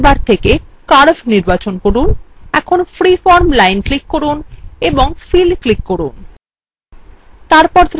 অঙ্কন toolbar থেকে curve নির্বাচন from এখন freeform line click from ও ফিল click from